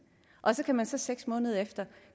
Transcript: og så kan man så seks måneder efter